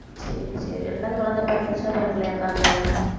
சரி சரி ரெண்டாவது குழந்தை பிறந்துருச்சா பிறக்கலையா அக்காவுக்கு